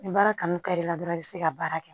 Ni baara kanu kari la dɔrɔn i be se ka baara kɛ